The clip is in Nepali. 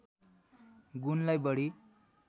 गुणलाई बढी